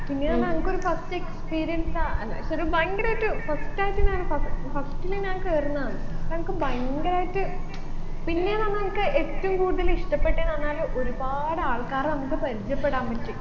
പിന്നെന്ന് പറഞ്ഞ അൻക്കൊരു first experience ആ എന്നുവെച്ച ഒരു ഭയങ്കരയിട്ട് first ആയിട്ട് ഞാൻ first first ൽ ഞാൻ കേറുന്നതാണ് അപ്പൊ അൻക്ക് ഭയങ്കരായിട്ട് പിന്നെന്ന് പറഞ്ഞാ അൻക്ക് ഏറ്റവും കൂടുതൽ ഇഷ്ടപെട്ടെന്ന് പറഞ്ഞാൽ ഒരുപാട് ആൾക്കാരെ നമ്മുക്ക് പരിചയപ്പെടാൻ പറ്റി